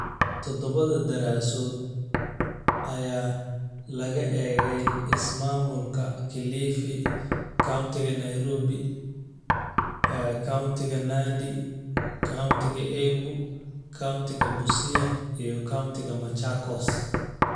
Todobada daraasadood ayaa laga eegay ismaamulka Kilifi, countiga Nairobi, kowntiga Nandi, countiga Embu, kowntiga Busia, iyo countiga Machakos.